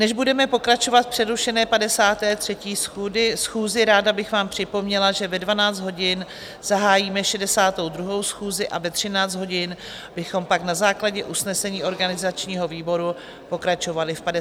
Než budeme pokračovat v přerušené 53. schůzi, ráda bych vám připomněla, že ve 12 hodin zahájíme 62. schůzi a ve 13 hodin bychom pak na základě usnesení organizačního výboru pokračovali v 54. schůzi.